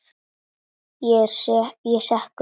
Ég er sekur.